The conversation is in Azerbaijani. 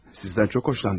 Sizdən çox xoşlandım.